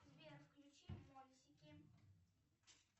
сбер включи мультики